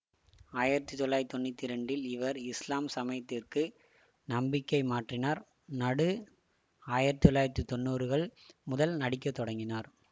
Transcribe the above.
ஆயிரத்தி தொள்ளாயிரத்தி தொன்னூற்தி இரண்டில் இவர் இஸ்லாம் சமயத்துக்கு நம்பிக்கை மாற்றினார் நடு ஆயிரத்தி தொள்ளாயிரத்தி தொன்னூறுகள் முதல் நடிக்க தொடங்கினார்